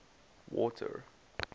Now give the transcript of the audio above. water